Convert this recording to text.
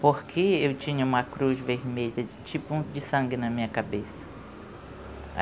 Porque eu tinha uma cruz vermelha, tipo de sangue na minha cabeça.